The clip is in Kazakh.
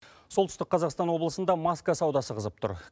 солтүстік қазақстан облысында маска саудасы қызып тұр